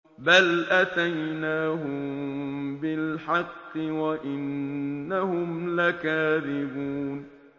بَلْ أَتَيْنَاهُم بِالْحَقِّ وَإِنَّهُمْ لَكَاذِبُونَ